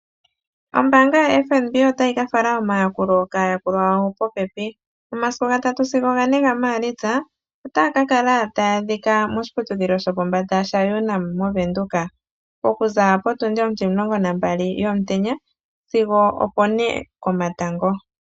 Ombaanga yaFNB otayi ka fala omayakulo kaayakulwa yawo popepi. Omasiku gatatu sigo gane gaMaalitsa Otaya ka kala taya a dhika moshiputudhilo sho pombanda sho UNAM moVenduka , oku za po tundi otimulongo nambali yomutenya sigo opo ne komatango.